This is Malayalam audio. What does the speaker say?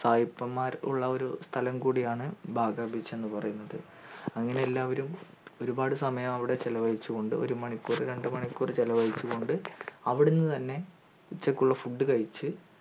സായിപ്പന്മാർ ഉള്ള ഒരു സ്ഥലം കൂടിയാണ് ബാഗാ beach എന്ന് പറയുന്നത് അങ്ങനെ എല്ലാവരും ഒരുപാട് സമയം അവിടെ ചെലവഴിച്ചു കൊണ്ട് ഒരു മരിക്കൂർ രണ്ടു മണിക്കൂർ ചെലവഴിച്ചു കൊണ്ട് അവിടെ നിന്ന് തന്നെ ഉച്ചക്കുള്ള food കഴിച്ചു